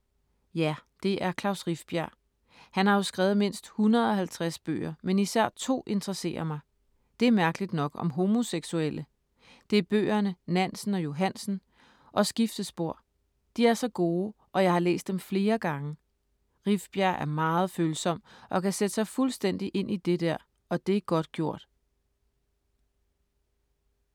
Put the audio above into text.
Ja, det er Klaus Rifbjerg. Han har jo skrevet mindst 150 bøger, men især to interesserer mig. Det er mærkeligt nok om homoseksuelle. Det er bøgerne ”Nansen og Johansen” og Skiftespor. De er så gode og jeg har læst dem flere gange. Rifbjerg er meget følsom og kan sætte sig fuldstændig ind i det der, og det er godt gjort.